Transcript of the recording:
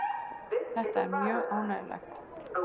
Þetta er mjög ánægjulegt.